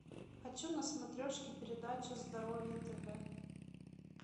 хочу на смотрешке передачу здоровье тв